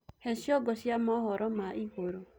he cĩongo cia mohoro ma iguru